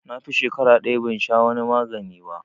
Na fi shakara ɗaya ban sha wani magani ba